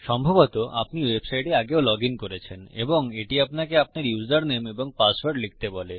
সম্ভবত আপনি ওয়েবসাইটে আগেও লগইন করেছেন এবং এটি আপনাকে আপনার ইউসারনেম এবং পাসওয়ার্ড লিখতে বলে